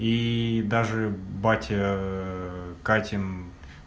ии даже батя катин